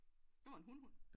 Det var en hun hund